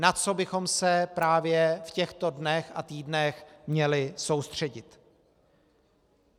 Na co bychom se právě v těchto dnech a týdnech měli soustředit?